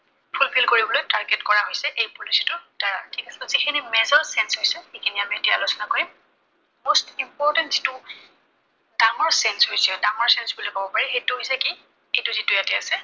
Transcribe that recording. full fill কৰিবলৈ target কৰা হৈছে এই policy টাৰ দ্বাৰা। ত যিখিনি major change হৈছে, সেইখিনি আমি এতিয়া আলোচনা কৰিম। most important যিটো ডাঙৰ change হৈছে, ডাঙৰ change হৈছে বুলি কব পাৰি, সেইটো হৈছে, এইটো ইয়াতে আছে